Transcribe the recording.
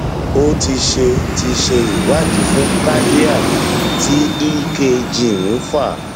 o ti ṣe ti ṣe ìwádìí fún cardiac tí ekg ń fà